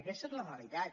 aquesta és la realitat